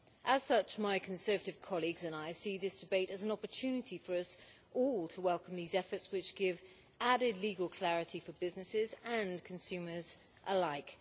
As such, my Conservative colleagues and I see this debate as an opportunity for us all to welcome these efforts, which give added legal clarity for businesses and consumers alike.